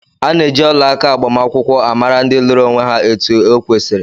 Ana eji ọlaaka agbamakwụkwọ amara ndị lụrụ onwé há etu okwesiri.